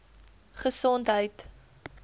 gesondheid